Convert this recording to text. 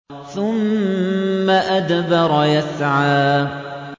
ثُمَّ أَدْبَرَ يَسْعَىٰ